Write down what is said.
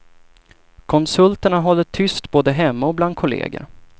Konsulterna håller tyst både hemma och bland kolleger.